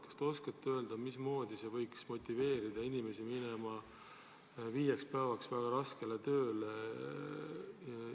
Kas te oskate öelda, mismoodi see võiks motiveerida inimesi minema viieks päevaks väga raskele tööle?